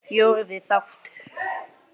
Fjórði þáttur